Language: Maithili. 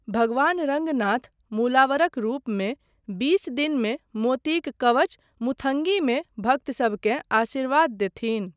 भगवान रङ्गनाथ मूलावरक रूपमे बीस दिनमे मोतीक कवच मुथंगीमे भक्तसबकेँ आशीर्वाद देथिन।